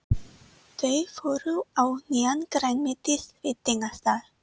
Þau fóru á nýjan grænmetisveitingastað.